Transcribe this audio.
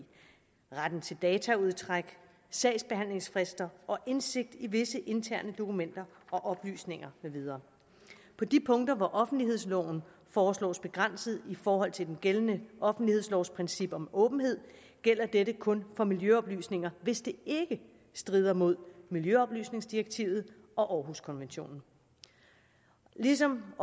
retten til dataudtræk sagsbehandlingsfrister og indsigt i visse interne dokumenter og oplysninger med videre på de punkter hvor offentlighedsloven foreslås begrænset i forhold til den gældende offentlighedslovs princip om åbenhed gælder dette kun for miljøoplysninger hvis det ikke strider mod miljøoplysningsdirektivet og århuskonventionen ligesom